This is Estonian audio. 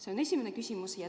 See on esimene küsimus.